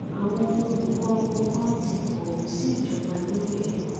àwọn olùkọ wọn ganan ti kọwé sí ìjọba lórí ẹ